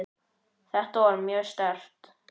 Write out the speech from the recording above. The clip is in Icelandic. Þetta var mjög sterkt.